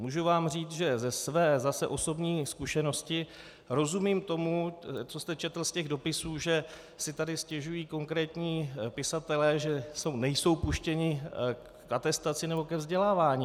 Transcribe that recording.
Můžu vám říct, že ze své zase osobní zkušenosti rozumím tomu, co jste četl z těch dopisů, že si tady stěžují konkrétní pisatelé, že nejsou puštěni k atestaci nebo ke vzdělávání.